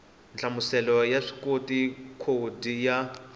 nhlamuselo ya vuswikoti khodi ya